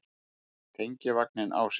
Fékk tengivagninn á sig